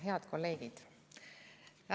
Head kolleegid!